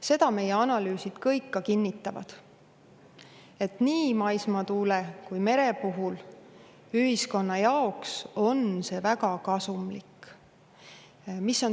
Seda meie analüüsid kõik kinnitavad, et nii maismaatuule kui meretuule kasutamine on ühiskonna jaoks väga kasumlik.